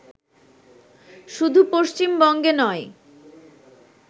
শুধু পশ্চিমবঙ্গে নয়